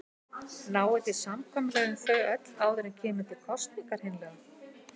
Náið þið samkomulagi um þau öll áður en kemur til kosninga hreinlega?